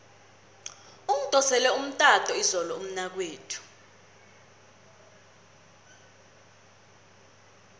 ungidosele umtato izolo umnakwethu